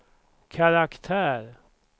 karaktär